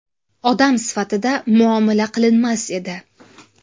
Odam sifatida muomala qilinmas edi.